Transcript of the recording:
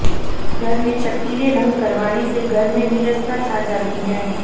घर में चटकीले रंग करवाने से घर में नीरसता छा जाती है